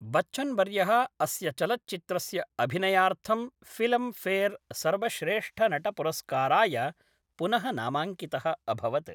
बच्चन्वर्यः अस्य चलच्चित्रस्य अभिनयार्थं फिल्म् फेर् सर्वश्रेष्ठनटपुरस्काराय पुनः नामाङ्कितः अभवत्।